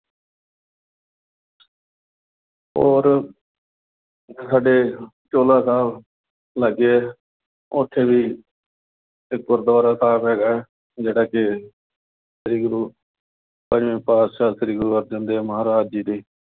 ਹੋਰ ਸਾਡੇ ਚੋਹਲਾ ਸਾਹਿਬ ਲਾਗੇ ਆ। ਉਥੇ ਵੀ ਇੱਕ ਗੁਰਦੁਆਰਾ ਸਾਹਿਬ ਹੈਗਾ। ਜਿਹੜਾ ਕਿ ਸ੍ਰੀ ਗੁਰੂ ਪੰਜਵੇਂ ਪਾਤਿਸ਼ਾਹ ਸ੍ਰੀ ਗੁਰੂ ਅਰਜਨ ਦੇਵ ਮਹਾਰਾਜ ਜੀ ਦੇ